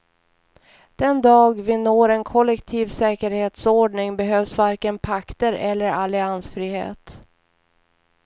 Den dag vi når en kollektiv säkerhetsordning behövs varken pakter eller alliansfrihet.